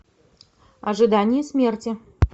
ожидание смерти